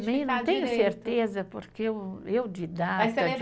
não tenho certeza, porque eu eu didata